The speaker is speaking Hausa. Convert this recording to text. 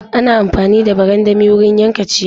Ana amfani da barandami wurin yanka ciyawa.